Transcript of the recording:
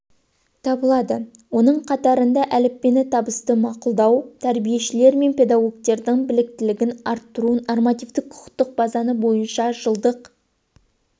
табылады оның қатарында әліппені табысты мақұлдау тәрбиешілер мен педагогтердің біліктілігін арттыру нормативтік-құқықтық базаны бойынша жылдық